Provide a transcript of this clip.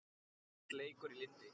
Allt leikur í lyndi.